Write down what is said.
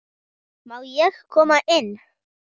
Má ég koma inn?